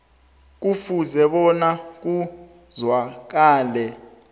kufuze bona kuzwakale